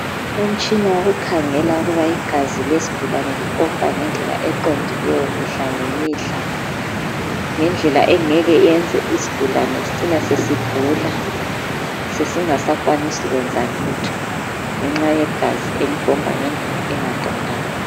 Umutshina wokhangela ukuba igazi lesigulane lipompa ngendlela eqondileyo mihla ngemihla ngendlela engeke yenze isigulane sicine sesigula sesingasakwanisi kwenza lutho ngenxa yegazi elipompa ngendlela engaqondanga.